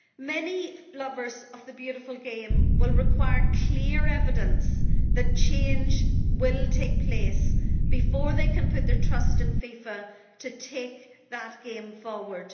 Many lovers of the beautiful game will require clear evidence that change will take place before they can put their trust in FIFA to take that game forward.